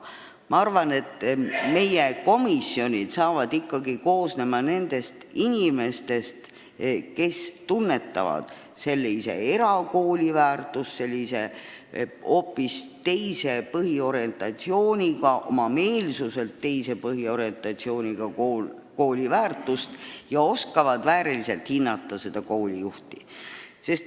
Ma arvan, et hindamiskomisjonid hakkavad ikkagi koosnema inimestest, kes tunnetavad niisuguse oma meelsuselt hoopis teistsuguse põhiorientatsiooniga kooli väärtust ja oskavad sellise kooli juhti vääriliselt hinnata.